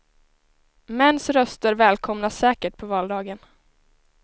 Mäns röster välkomnas säkert på valdagen.